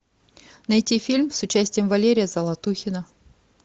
найти фильм с участием валерия золотухина